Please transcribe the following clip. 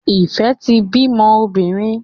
Ife tí bí mọ obìrin.